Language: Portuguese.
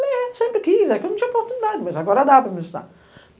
Falei, é, sempre quis, é que eu não tinha oportunidade, mas agora dá para me estudar.